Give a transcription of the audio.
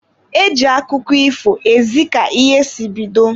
E ji akụkọ ifo ezi ka ihe si bido.